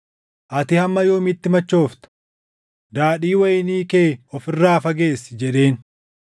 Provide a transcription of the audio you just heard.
“Ati hamma yoomiitti machoofta? Daadhii wayinii kee of irraa fageessi” jedheen.